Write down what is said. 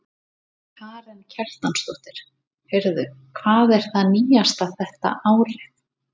Karen Kjartansdóttir: Heyrðu, hvað er það nýjasta þetta árið?